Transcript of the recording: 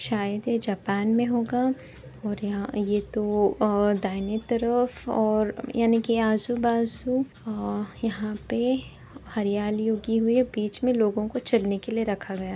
शायद ये जापान में होगा ये तो दाहिने तरफ और यानिकि आजू बाजू और यहां पे हरियाली ऊगी हुई है बीच में लोगों को चलने के लिए रखा गया है।